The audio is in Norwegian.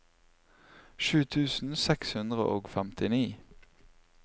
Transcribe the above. sju tusen seks hundre og femtini